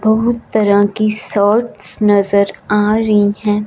बहुत तरह की सर्ट्स नजर आ रही है।